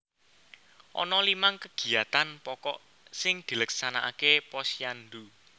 Ana limang kegiyatan pokok sing dileksanakake Posyandu